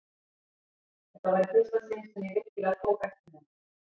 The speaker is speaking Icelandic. Þetta var í fyrsta sinn sem ég virkilega tók eftir henni.